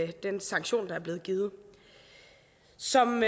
den sanktion der er blevet givet som